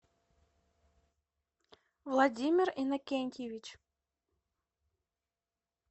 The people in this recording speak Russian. владимир иннокентьевич